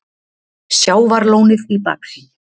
Sjávarlónið í baksýn.